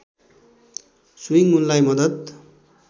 swing उनलाई मद्दत